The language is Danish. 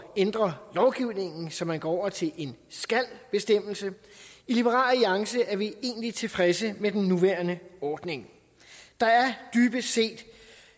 ændre lovgivningen så man går over til en skal bestemmelse i liberal alliance er vi egentlig tilfredse med den nuværende ordning der er